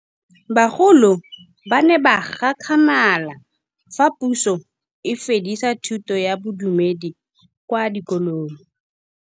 Bagolo ba ne ba gakgamala fa Pusô e fedisa thutô ya Bodumedi kwa dikolong.